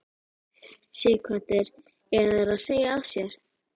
Sighvatur: Eiga þeir að segja af sér?